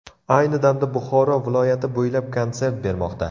Ayni damda Buxoro viloyati bo‘ylab konsert bermoqda.